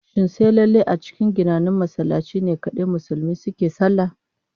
Shin sai lallai a cikin ginannen masallaci ne kadai Musulmi suke sallah?